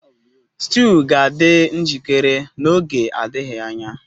Stew ga-adị njikere n'oge adịghị anya